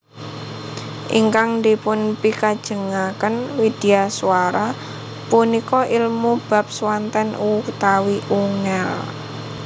Ingkang dipunpikajengaken widyaswara punika ilmu bab swanten utawi ungel